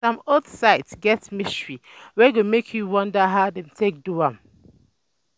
Some old sites get mystery wey go make you wonder how dem take do am.